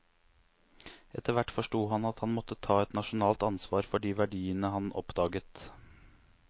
Etter hvert forsto han at han måtte ta et nasjonalt ansvar for de verdiene han oppdaget.